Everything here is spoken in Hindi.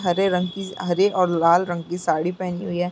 हरे रंग की हरे और लाल रंग की साड़ी पहनी हुई है।